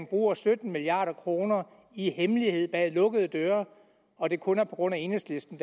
bruger sytten milliard kroner i hemmelighed og bag lukkede døre og at det kun er på grund af enhedslisten